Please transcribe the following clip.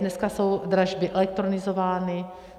Dneska jsou dražby elektronizovány.